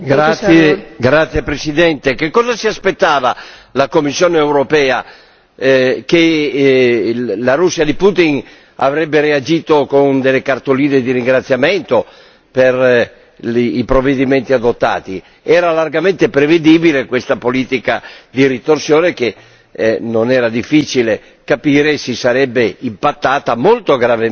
Signora Presidente, onorevoli colleghi, che cosa si aspettava la Commissione europea, che la Russia di Putin avrebbe reagito con delle cartoline di ringraziamento per i provvedimenti adottati? Era largamente prevedibile questa politica di ritorsione che, non era difficile capire, si sarebbe impattata molto gravemente